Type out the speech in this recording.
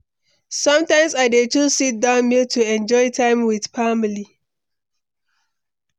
Sometimes I dey choose sit-down meal to enjoy time with family.